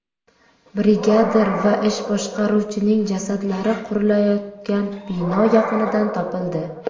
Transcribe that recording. Brigadir va ish boshqaruvchining jasadlari qurilayotgan bino yaqinidan topildi.